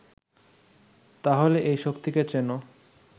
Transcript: তাহলে এই শক্তিকে চেনো